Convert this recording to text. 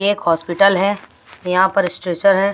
ये एक हॉस्पिटल है यहाँ पर स्ट्रेचर है।